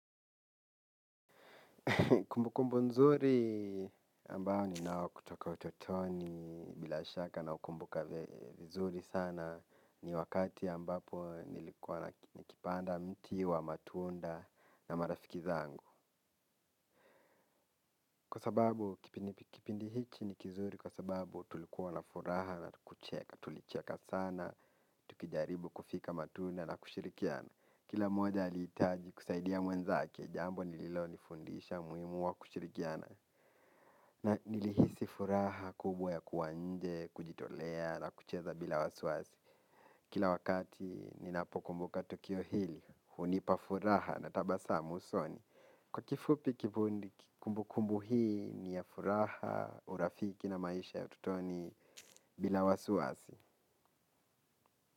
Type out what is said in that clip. Kumbukumbu nzuri ambao ninao kutoka utotoni bila shaka naukumbuka vizuri sana ni wakati ambapo nilikuwa nikipanda mti wa matunda na marafiki zangu. Kwa sababu kipindi hiki ni kizuri kwa sababu tulikuwa na furaha na hatukucheka. Tulicheka sana, tukijaribu kufika matunda na kushirikiana. Kila mmoja alihitaji kusaidia mwenzake jambo lililonifundisha umuhimu wa kushirikiana na nilihisi furaha kubwa ya kuwa nje, kujitolea na kucheza bila wasiwasi. Kila wakati ninapokumbuka tukio hili, hunipa furaha na tabasamu usoni. Kwa kifupi kumbukumbu hii ni ya furaha, urafiki na maisha ya utotoni bila wasiwasi.